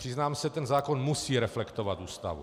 Přiznám se, ten zákon musí reflektovat Ústavu.